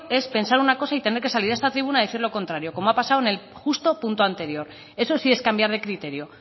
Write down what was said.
es pensar una cosa y tener que salir a esta tribuna a decir lo contrario como ha pasado en el justo punto anterior eso sí es cambiar de criterio